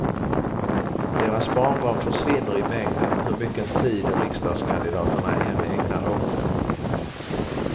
Deras barnbarn försvinner i mängden, hur mycken tid riksdagskandidaterna än ägnar åt dem.